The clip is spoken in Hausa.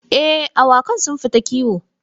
Eh, awakan sun fita kiwo.